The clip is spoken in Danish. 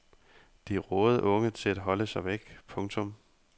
De rådede unge til at holde sig væk. punktum